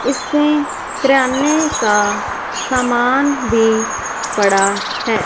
इसमें किराने का सामान भी पड़ा है।